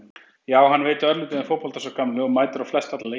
Já hann veit örlítið um fótbolta sá gamli og mætir á flest alla leiki.